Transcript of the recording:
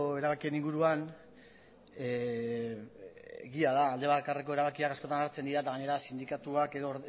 erabakien inguruan egia da alde bakarreko erabakiak askotan hartzen dira eta gainera sindikatuak edo